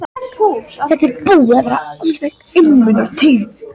Þetta er búin að vera alveg einmunatíð.